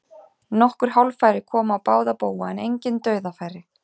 Nokkur hálffæri komu á báða bóga en engin dauðafæri.